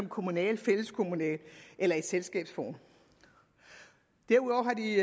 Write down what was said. kommunalt fælleskommunalt eller i selskabsform derudover har de